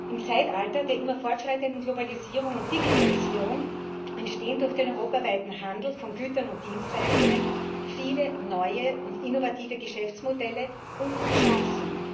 Im Zeitalter der immer weiter fortschreitenden Globalisierung und Digitalisierung entstehen durch den europaweiten Handel mit Gütern und Dienstleistungen viele neue und innovative Geschäftsmodelle und Chancen.